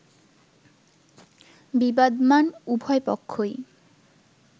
বিবাদমান উভয়পক্ষই